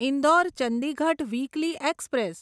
Indore Chandigarh weekly express